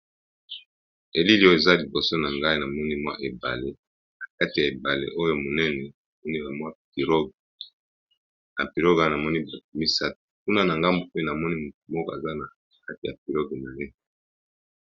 Elili oyo, eza liboso na ngai na moni mwa ebale. Nakati ya ebale oyo monene, na moni mwa pirogue, na pirogue wana na moni batu misato. Kuna na ngambu pe na moni motu moko aza na kati ya piroge na ye.